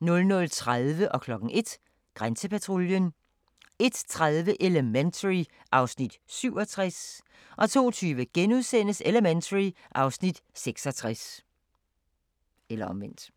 00:30: Grænsepatruljen 01:00: Grænsepatruljen 01:30: Elementary (Afs. 67) 02:20: Elementary (Afs. 66)*